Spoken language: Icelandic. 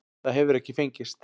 Það hefur ekki fengist.